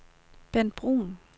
Bent Bruun